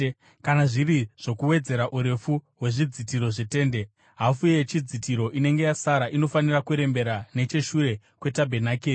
Kana zviri zvokuwedzera urefu hwezvidzitiro zvetende, hafu yechidzitiro inenge yasara inofanira kurembera necheshure kwetabhenakeri.